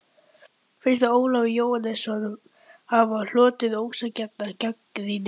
Finnst þér Ólafur Jóhannesson hafa hlotið ósanngjarna gagnrýni?